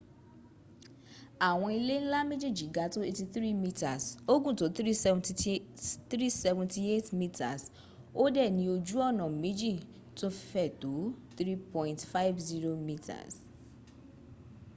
awon ile nla mejeji ga to 83 meters o gun to 378 meters o de ni oju ona meji to fe to 3.50m